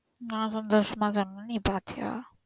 நா சந்தோசமா சொன்னேன்னு நீ பாத்தியா?